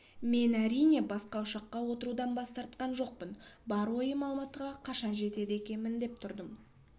мен әрине басқа ұшаққа отырудан бас тартқан жоқпын бар ойым алматыға қашан жетеді екенмін деп тұрдым